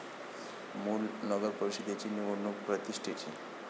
मूल नगरपरिषदेची निवडणूक प्रतिष्ठेची